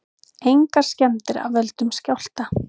Engar skemmdir af völdum skjálfta